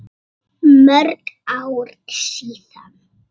Mörg ár síðan.